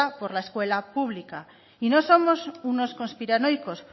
por la escuela pública y no somos unos conspiranoicos